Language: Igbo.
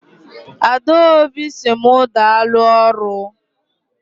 Adaobi si mu daalụ ọrụ.